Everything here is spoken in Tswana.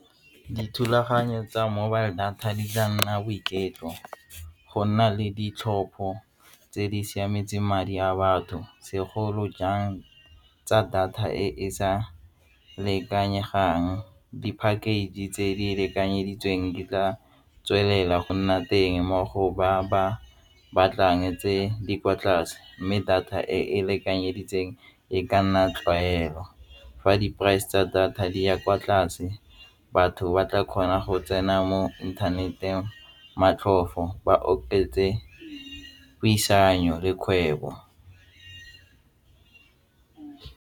Dithulaganyo tsa mobile data di tla nna boiketlo go nna le ditlhopho tse di siametseng madi a batho segolojang tsa data e e sa lekanyegang, di-package tse di lekanyeditsweng di tla tswelela go nna teng mo go ba ba batlang tse di kwa tlase mme data e lekanyeditseng e ka nna tlwaelo. Fa di price tsa data di ya kwa tlase batho ba tla kgona go tsena mo internet-eng motlhofo ba oketse puisano le kgwebo.